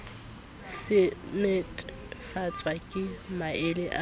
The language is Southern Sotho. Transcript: se netefatswa ke maele a